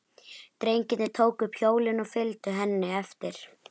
Drengirnir tóku upp hjólin og fylgdu henni eftir.